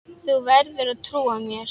Þú verður að trúa mér.